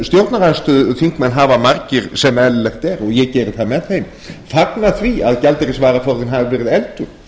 stjórnarandstöðuþingmenn hafa margir sem eðlilegt er og ég geri það með þeim fagnað því að gjaldeyrisvaraforðinn hafi verið efldur